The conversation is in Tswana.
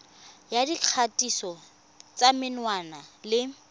ya dikgatiso tsa menwana le